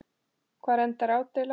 Hvar endar ádeila?